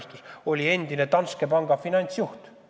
Ta oli endine Danske panga finantsjuht.